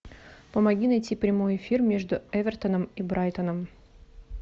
помоги найти прямой эфир между эвертоном и брайтоном